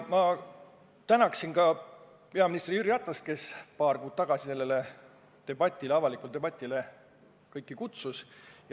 Ma tänaksin ka peaminister Jüri Ratast, kes paar kuud tagasi kõiki sellele avalikule debatile üles kutsus.